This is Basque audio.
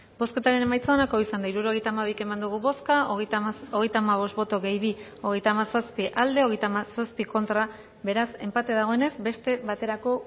bozketaren emaitza onako izan da hirurogeita hamabi eman dugu bozka hogeita hamazazpi boto aldekoa treinta y siete contra beraz enpate dagoenez beste baterako